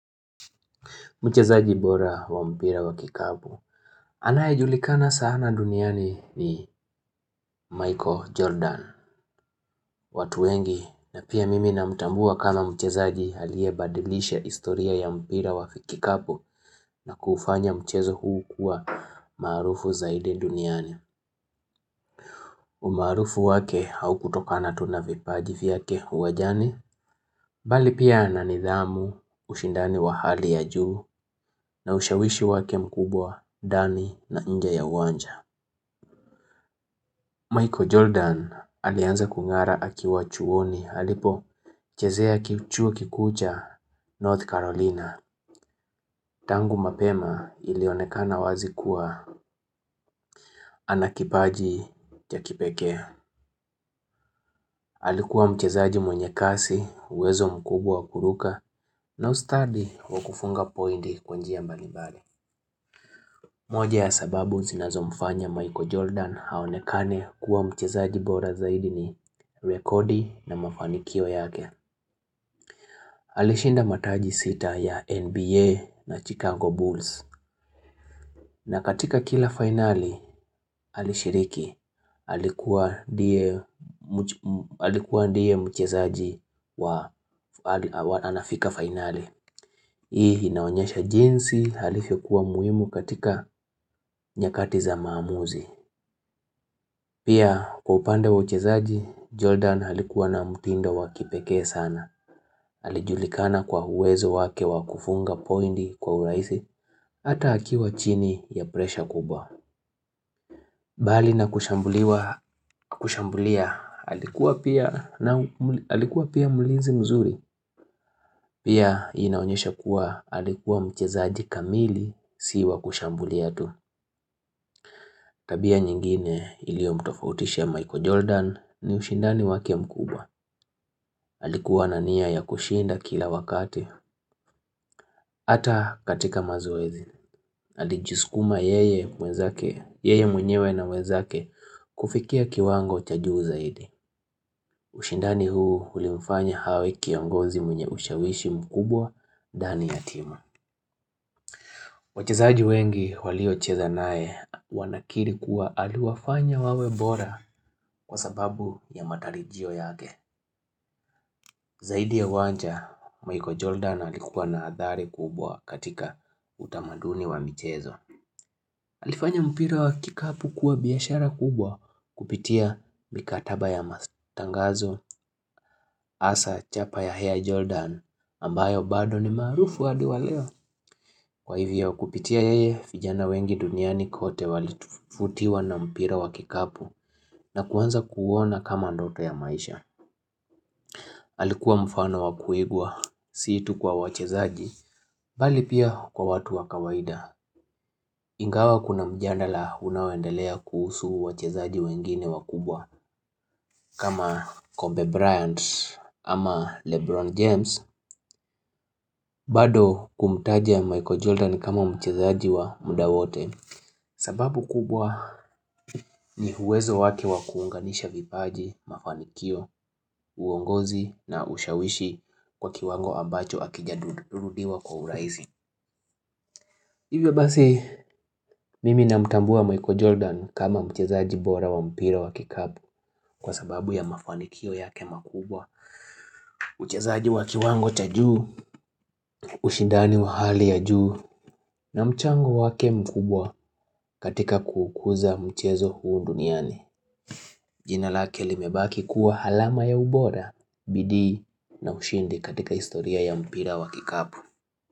Mchezaji bora wa mpira wa kikapu anayejulikana sana duniani ni Michael Jordan. Watu wengi na pia mimi namtambua kama mchezaji aliyebadilisha historia ya mpira wa kikapu na kufanya mchezo huu kuwa maarufu zaidi duniani. Umaarufu wake haukutokana tu na vipaji vyake uwanjani. Bali pia na nidhamu, ushindani wa hali ya juu, na ushawishi wake mkubwa ndani na nje ya uwanja. Michael Jordan alianza kung'ara akiwa chuoni alipochezea chuo kikuu cha North Carolina. Tangu mapema ilionekana wazi kuwa ana kipaji ya kipekee. Alikuwa mchezaji mwenye kasi, uwezo mkubwa wa kuruka, na ustadi wa kufunga pointi kwa njia mbalimbali. Moja ya sababu zinazo mfanya Michael Jordan aonekane kuwa mchezaji bora zaidi ni rekodi na mafanikio yake. Alishinda mataji sita ya NBA na Chicago Bulls. Na katika kila finali, alishiriki. Alikuwa ndiye mchezaji wa anafika finali. Hii inaonyesha jinsi alivyokuwa muhimu katika nyakati za maamuzi. Pia kwa upande wa uchezaji, Jordan alikuwa na mtindo wa kipekee sana. Alijulikana kwa uwezo wake wa kufunga pointi kwa urahisi hata akiwa chini ya presha kubwa. Bali na kushambulia, alikuwa pia mlinzi mzuri. Pia inaonyesha kuwa alikuwa mchezaji kamili siwa kushambulia tu. Tabia nyingine iliyo mtofautisha Michael Jordan ni ushindani wake mkubwa. Alikuwa na nia ya kushinda kila wakati. Hata katika mazoezi. Alijisukuma yeye mwenyewe na wenzake kufikia kiwango cha juu zaidi. Ushindani huu ulimfanya awe kiongozi mwenye ushawishi mkubwa ndani ya timu. Wachezaji wengi waliocheza naye wanakiri kuwa aliwafanya wawe bora kwa sababu ya matarajio yake. Zaidi ya wanja, Michael Jordan alikuwa na athari kubwa katika utamaduni wa michezo. Alifanya mpira wa kikapu kuwa biashara kubwa kupitia mikataba ya matangazo hasa chapa ya Air Jordan ambayo bado ni maarufu hadi wa leo. Kwa hivyo kupitia yeye vijana wengi duniani kote walivutiwa na mpira wa kikapu na kuanza kuuona kama ndoto ya maisha. Alikuwa mfano wa kuigwa si tu kwa wachezaji bali pia kwa watu wa kawaida. Ingawa kuna mjadala unaoendelea kuhusu wachezaji wengine wakubwa kama Koby Bryant ama Lebron James bado kumtaja Michael Jordan kama mchezaji wa muda wote sababu kubwa ni uwezo wake wa kuunganisha vipaji, mafanikio, uongozi na ushawishi kwa kiwango ambacho hakijarudiwa kwa urahisi Hivyo basi mimi namtambua Michael Jordan kama mchezaji bora wa mpira wa kikapu kwa sababu ya mafanikio yake makubwa, uchezaji wa kiwango cha juu, ushindani wa hali ya juu na mchango wake mkubwa katika kuukuza mchezo huu duniani. Jina lake limebaki kuwa alama ya ubora, bidii na ushindi katika historia ya mpira wa kikapu.